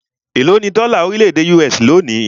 Élo ní dọ́là orílẹ̀-èdè US lónìí?